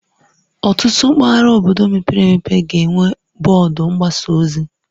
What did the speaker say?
Ọtụtụ mpaghara obodo mepere emepe ga-enwe bọọdụ mgbasa ozi